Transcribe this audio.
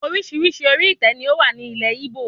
Orísirísi orí itẹ ni o wá ní ilé Igbo